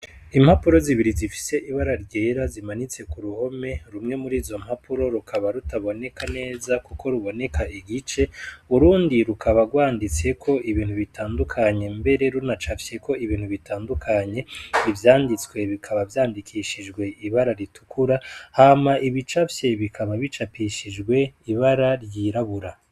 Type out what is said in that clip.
Impapuro zibiri zifise ibara ryera zimanitse ku ruhome rumwe murizo mpapuro rukaba rutaboneka neza kuko ruboneka igice, urundi rukaba rwanditseko ibintu bitandukanye mbere runacafyeko ibintu bitandukanye, ivyanditswe bikaba vyandikishijwe ibara ritukura hama ibicafye bikaba bicapishijwe ibara ryirabura.